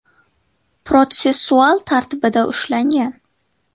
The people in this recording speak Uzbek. protsessual tartibida ushlangan.